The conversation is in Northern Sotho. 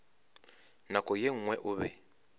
nako ye nngwe o be